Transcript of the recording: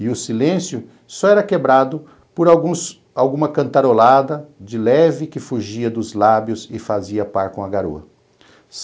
E o silêncio só era quebrado por alguns por alguma cantarolada de leve que fugia dos lábios e fazia par com a garoa.